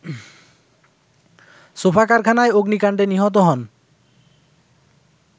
sofa কারখানায় অগ্নিকাণ্ডে নিহত হন